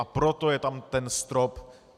A proto je tam ten strop.